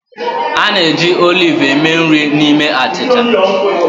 A na-eji oliv eme nri na ime achịcha.